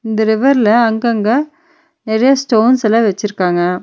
இந்த ரிவர்ல அங்கங்க நெறைய ஸ்டோன்ஸ்யெல்லா வெச்சிருக்காங்க.